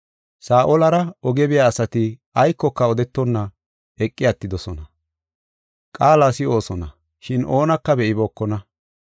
Saa7olara oge biya asati aykoka odetonna eqi attidosona. Qaala si7oosona, shin oonaka be7ibookona.